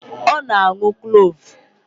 Ọ na-aṅụ Kloovu